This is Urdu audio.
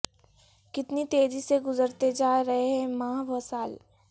کتنی تیزی سے گزرتے جا رہے ہیں ماہ و سال